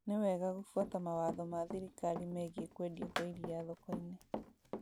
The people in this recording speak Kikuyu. Nĩ wega gũbuata mawatho ma thirikari megiĩ kwendia kwa iria thoko-inĩ